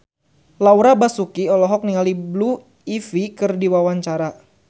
Laura Basuki olohok ningali Blue Ivy keur diwawancara